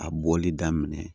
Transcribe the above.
A bɔli daminɛ